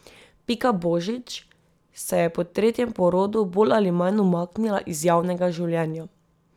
Pika Božič se je po tretjem porodu bolj ali manj umaknila iz javnega življenja.